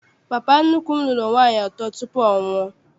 Papa nnukwu m lụrụ nwaanyị atọ tupu ọnwụ a.